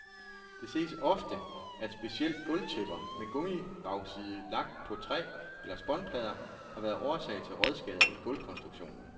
Det ses ofte, at specielt gulvtæpper med gummibagside lagt på træ eller spånplader har været årsag til rådskader i gulvkonstruktionen.